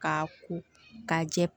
Ka ko ka jɛ